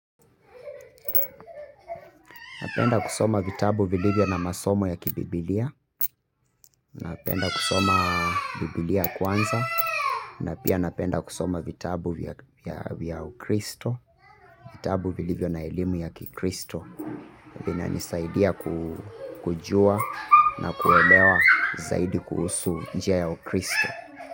Napenda kusoma vitabu vilivyo na masomo ya kibibilia. Napenda kusoma bibilia kwanza. Na pia napenda kusoma vitabu vya ukristo. Vitabu vilivyo na elimu ya kikristo. Vinanisaidia kujua na kuelewa zaidi kuhusu njia ya ukristo.